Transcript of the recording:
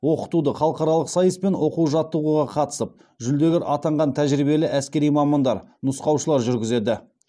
оқытуды халықаралық сайыс пен оқу жаттығуға қатысып жүлдегер атанған тәжірибелі әскери мамандар нұсқаушылар жүргізеді